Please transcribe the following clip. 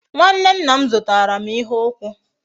Nwanne nna m zutaram ihe ukwu